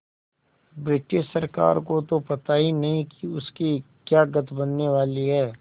British सरकार को तो पता ही नहीं कि उसकी क्या गत बनने वाली है